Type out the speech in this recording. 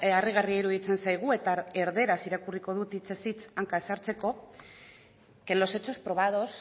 harrigarria iruditzen zaigu eta erderaz irakurriko dut hitzez hitz hanka ez sartzeko que los hechos probados